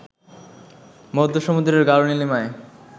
মধ্য-সমুদ্রের গাঢ় নীলিমায়